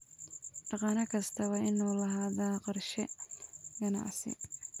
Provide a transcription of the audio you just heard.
Dhaqane kasta waa inuu lahaadaa qorshe ganacsi.